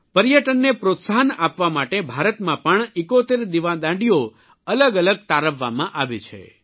પર્યટનને પ્રોત્સાહન આપવા માટે ભારતમાં પણ 71 દિવાદાંડીઓ અલગ તારવવામાં આવી છે